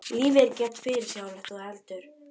Lífið er ekki jafn fyrirsjáanlegt og þú heldur.